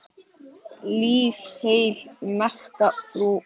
Lif heil, merka frú Alda.